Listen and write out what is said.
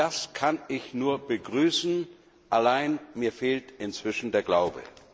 Das kann ich nur begrüßen, allein mir fehlt inzwischen der Glaube.